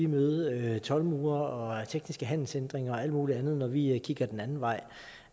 møde toldmure og tekniske handelsændringer og alt muligt andet når vi kigger den anden vej